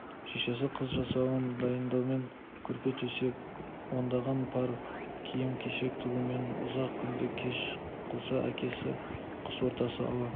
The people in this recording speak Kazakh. шешесі қыз жасауын дайындаумен көрпе-төсек ондаған пар киім-кешек тігумен ұзақ күнді кеш қылса әкесі қыс ортасы ауа